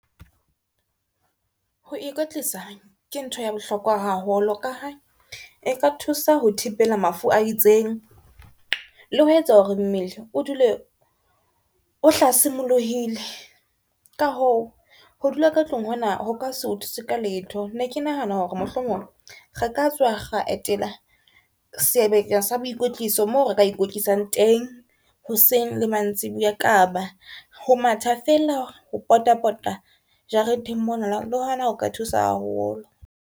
Ho ikwetlisa ke ntho ya bohlokwa haholo, ka ha e ka thusa ho thibela mafu a itseng le ho etsa hore mmele o dule o hlasimoluhile ka hoo ho dula ka tlung, hona ho ka se o thuse ka letho. Ne ke nahana hore mohlomong re ka tswa ra etela sebaka sa boikotliso moo re ka ikwetlisang teng hoseng le mantsiboya. Kapa ho matha fela ho pota pota jareteng mona le hona ho ka thusa haholo.